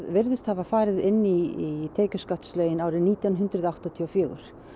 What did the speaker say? virðist hafa farið inn í tekjuskattslögin árið nítján hundruð áttatíu og fjögur